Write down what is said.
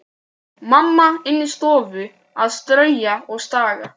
Mamma inni í stofu að strauja og staga.